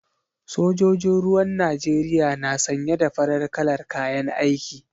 Sojojin ruwan Najeriya na sanye da farar kalar kayan aiki.